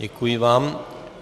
Děkuji vám.